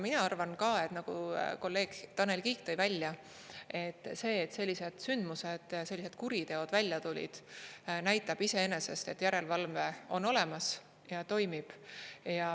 Mina arvan ka, nagu kolleeg Tanel Kiik tõi välja, et see, et sellised sündmused, sellised kuriteod välja tulid, näitab iseenesest, et järelevalve on olemas ja toimib.